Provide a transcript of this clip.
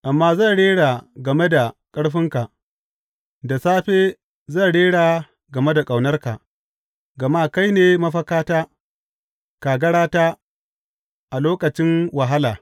Amma zan rera game da ƙarfinka, da safe zan rera game da ƙaunarka; gama kai ne mafakata, kagarata a lokacin wahala.